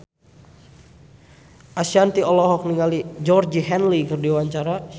Ashanti olohok ningali Georgie Henley keur diwawancara